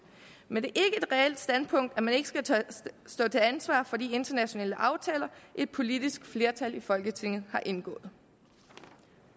men det er ikke et reelt standpunkt at man ikke skal stå til ansvar for de internationale aftaler et politisk flertal i folketinget har indgået